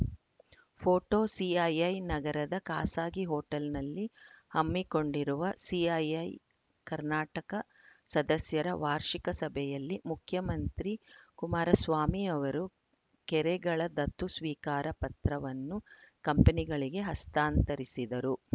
photo CII ನಗರದ ಖಾಸಗಿ ಹೋಟೆಲ್‌ನಲ್ಲಿ ಹಮ್ಮಿಕೊಂಡಿರುವ ಸಿಐಐ ಕರ್ನಾಟಕ ಸದಸ್ಯರ ವಾರ್ಷಿಕ ಸಭೆಯಲ್ಲಿ ಮುಖ್ಯಮಂತ್ರಿ ಕುಮಾರಸ್ವಾಮಿ ಅವರು ಕೆರೆಗಳ ದತ್ತು ಸ್ವೀಕಾರ ಪತ್ರವನ್ನು ಕಂಪನಿಗಳಿಗೆ ಹಸ್ತಾಂತರಿಸಿದರು